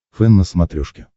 фэн на смотрешке